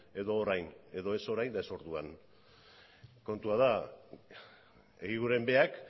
edo orain edo ez orain eta ez orduan kontua da eguiguren berak